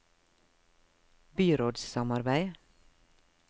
byrådssamarbeid